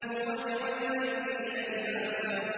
وَجَعَلْنَا اللَّيْلَ لِبَاسًا